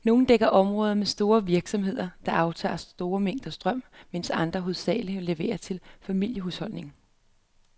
Nogle dækker områder med store virksomheder, der aftager store mængder strøm, mens andre hovedsageligt leverer til familiehusholdninger.